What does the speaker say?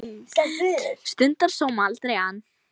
Stundar sóma, aldrei ann